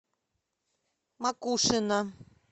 макушино